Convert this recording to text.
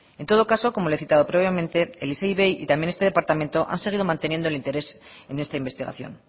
en todo caso como le he citado previamente el isei ivei y también este departamento han seguido manteniendo el interés en esta investigación